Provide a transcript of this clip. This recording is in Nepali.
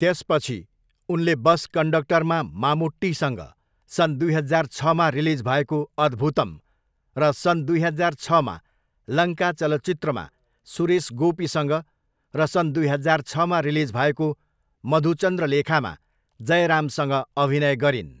त्यसपछि, उनले बस कन्डक्टरमा मामुट्टीसँग, सन् दुई हजार छमा रिलिज भएको अद्भुतम, र सन् दुई हजार छमा लङ्का चलचित्रमा सुरेश गोपीसँग र सन् दुई हजार छमा रिलिज भएको मधुचन्द्रलेखामा जयरामसँग अभिनय गरिन्।